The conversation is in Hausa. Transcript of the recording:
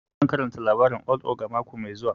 Zan karanta labarin old ogre mako mai zuwa